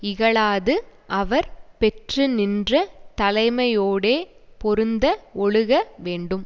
இகழாது அவர் பெற்றுநின்ற தலைமையோடே பொருந்த ஒழுக வேண்டும்